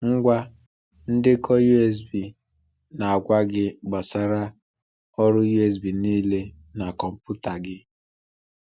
Ngwa ndekọ USB na-agwa gị gbasara ọrụ USB niile na kọmputa gị.